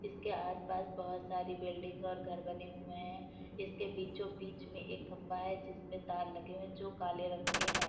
इसके आसपास बहुत सारी बिल्डिंग और घर बने हुए हैं। इसके बीचों बीच में एक खम्बा है जिसमें तार लगे हुए हैं जो काले रंग के हैं।